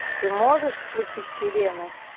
ты можешь включить сирены